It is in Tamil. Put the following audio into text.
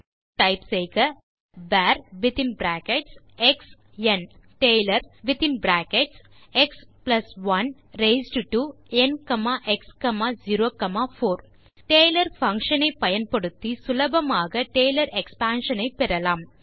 அதற்கு டைப் செய்க வர் ஒஃப் எக்ஸ் ந் பின் டைப் செய்க டேலர் வித்தின் bracketsஎக்ஸ்1 raised to nx04 function taylor function ஐ பயன்படுத்தி சுலபமாக டேலர் எக்ஸ்பான்ஷன் ஐ பெறலாம்